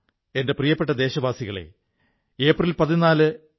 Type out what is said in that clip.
എന്റെ പ്രിയപ്പെട്ട ദേശവാസികളേ ഏപ്രിൽ 14 ഡോ